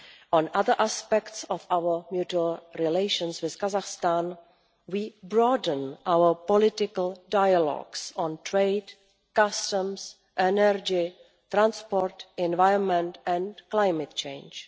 On other aspects of our mutual relations with Kazakhstan, we broaden our political dialogues on trade, customs, energy, transport, environment and climate change.